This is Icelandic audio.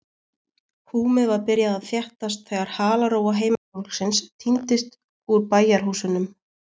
Húmið var byrjað að þéttast þegar halarófa heimafólksins tíndist úr bæjarhúsunum.